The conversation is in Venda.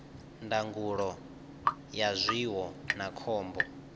ndangulo ya zwiwo na khombo